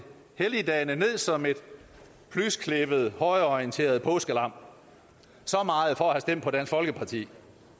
helligdagene ned som et plysklippet højreorienteret påskelam så meget for at have stemt på dansk folkeparti